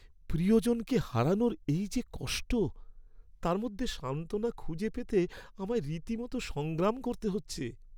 প্রিয়জনকে হারানোর এই যে কষ্ট, তার মধ্যে সান্ত্বনা খুঁজে পেতে আমায় রীতিমত সংগ্রাম করতে হচ্ছে।